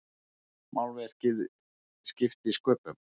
Málverkið skipti sköpum.